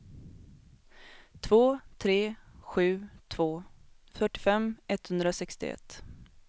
två tre sju två fyrtiofem etthundrasextioett